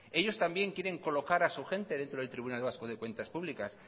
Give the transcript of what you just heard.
ellos también quieren colocar a su gente dentro del tribunal vasco de cuentas públicas